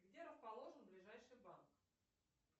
где расположен ближайший банк